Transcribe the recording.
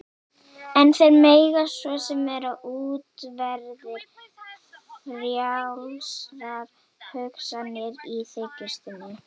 En þeir mega svo sem vera útverðir frjálsrar hugsunar- í þykjustunni.